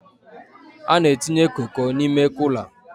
A na-entinye Koko n'ime Kula